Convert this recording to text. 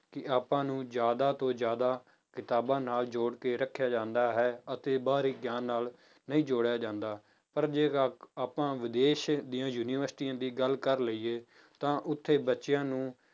ਕਿ ਆਪਾਂ ਨੂੰ ਜ਼ਿਆਦਾ ਤੋਂ ਜ਼ਿਆਦਾ ਕਿਤਾਬਾਂ ਨਾਲ ਜੋੜ ਕੇ ਰੱਖਿਆ ਜਾਂਦਾ ਹੈ ਅਤੇ ਬਾਹਰੀ ਗਿਆਨ ਨਾਲ ਨਹੀਂ ਜੋੜਿਆ ਜਾਂਦਾ ਪਰ ਜੇ ਆਪਾਂ ਵਿਦੇਸ਼ ਦੀਆਂ ਯੂਨੀਵਰਸਟੀਆਂ ਦੀ ਗੱਲ ਕਰ ਲਈਏ ਤਾਂ ਉੱਥੇ ਬੱਚਿਆਂ ਨੂੰ